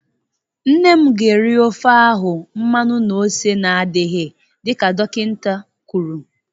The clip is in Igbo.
Nne m ga-eri ofe ahụ mmanụ na ose na-adịghị dịka dokịnta kwụrụ.